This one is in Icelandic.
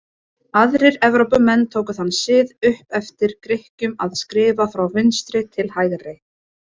Aðrir Evrópumenn tóku þann sið upp eftir Grikkjum að skrifa frá vinstri til hægri.